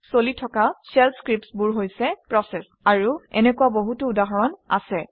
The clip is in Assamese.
চলি থকা শেল scripts বোৰ হৈছে প্ৰচেচ আৰু এনেকুৱা বহুতো উদাহৰণ আছে